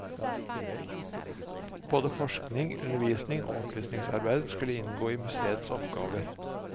Både forskning, undervisning og opplysningsarbeid skulle inngå i museets oppgaver.